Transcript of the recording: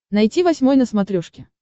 найти восьмой на смотрешке